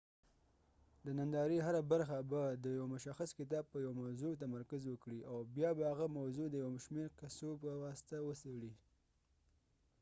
د نندارې هره برخه به د یو مشخص کتاب په یوه موضوع تمرکز وکړي او بیا به هغه موضوع د یو شمیر قصو په واسطه وڅیړي